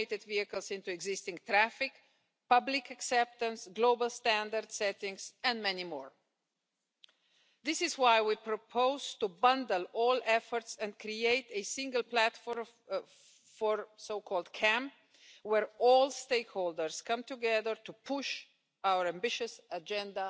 La economía colaborativa, señorías, que es un gran rótulo donde caben tantas cosas, que ha llegado para quedarse, no puede, a mi juicio, ser una jungla. No se puede dejar al devenir de lo que ocurra, sino que es necesario reglarlo, es necesario que el sistema tenga unas reglas de juego en que no se impida la innovación, pero que se respeten los derechos adquiridos.